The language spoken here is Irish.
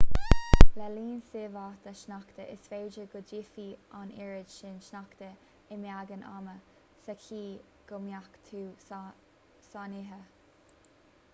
le linn síobtha sneachta is féidir go dtitfidh an oiread sin sneachta i mbeagán ama sa chaoi go mbeadh tú sáinnithe